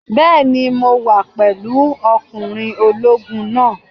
Bẹ́ẹ̀ni, mo wà pẹ̀lú ọkùnrin ológun náà.